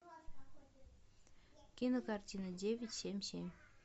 кинокартина девять семь семь